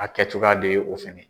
A kɛ cogoya de ye o fana